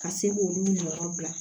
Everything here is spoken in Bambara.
Ka se k'olu yɔrɔ bila